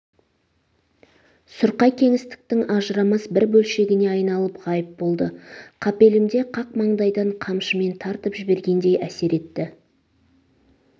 сұрқай кеңістіктің ажырамас бір бөлшегіне айналып ғайып болды қапелімде қақ маңдайдан қамшымен тартып жібергендей әсер етті